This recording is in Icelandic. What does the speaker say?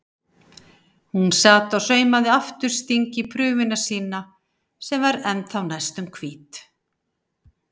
Hún sat og saumaði aftursting í prufuna sína sem var ennþá næstum hvít.